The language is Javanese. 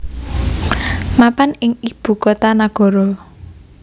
mapan ing ibu kota nagara